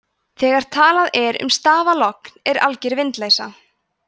þegar talað er um stafalogn er alger vindleysa